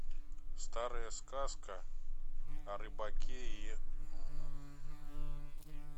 старая сказка о рыбаке и